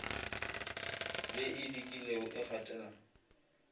ye e dikile e gatela